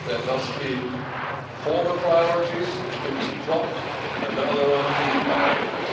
There must be former priorities which can be dropped and now there are new priorities.